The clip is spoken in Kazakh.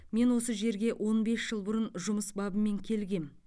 мен осы жерге он бес жыл бұрын жұмыс бабымен келгем